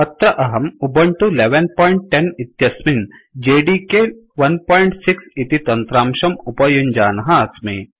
अत्र अहं उबुन्तु 1110 इत्यस्मिन् जेडीके 16 इति तन्त्रांशम् उपयुञ्जानः अस्मि